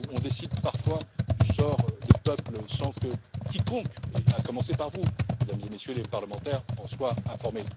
On décide parfois du sort de peuples sans que quiconque, à commencer par vous, Mesdames et Messieurs les parlementaires, en soit informé.